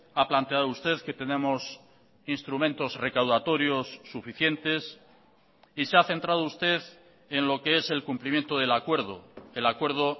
ha planteado usted que tenemos instrumentos recaudatorios suficientes y se ha centrado usted en lo que es el cumplimiento del acuerdo el acuerdo